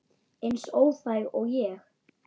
Eins óþæg og ég?